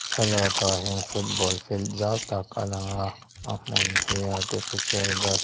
thlalakah hian football field zau tak a lang a a hmun hi artificial grass--